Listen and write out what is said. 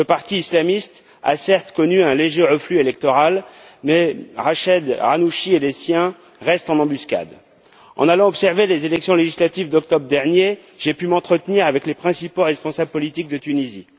Ce parti islamiste a certes connu un léger reflux électoral, mais Rached Ghannouchi et les siens restent en embuscade. En allant observer les élections législatives d'octobre dernier, j'ai pu m'entretenir avec les principaux responsables politiques de Tunisie.